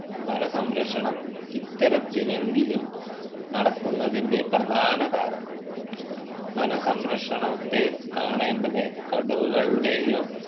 വന സംരക്ഷണം ഇത്തരത്തിലെങ്കിലും നടക്കുന്നതിൻ്റെ പ്രധാന കാരണം വന സംരക്ഷണത്തെ കാണേണ്ടത് കടുവകളുടെയോ